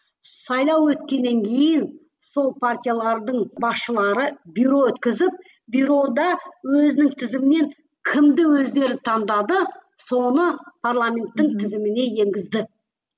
сайлау өткеннен кейін сол партиялардың басшылары бюро өткізіп бюрода өзінің тізімінен кімді өздері таңдады соны парламенттің тізіміне енгізді